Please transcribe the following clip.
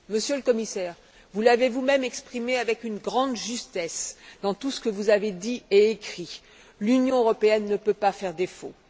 Monsieur le Commissaire, vous l'avez vous même exprimé avec une grande justesse dans tout ce que vous avez dit et écrit L'Union européenne ne peut pas faire défaut.